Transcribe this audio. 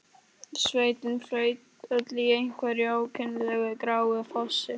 Sveitin flaut öll í einhverju ókennilegu gráu flosi.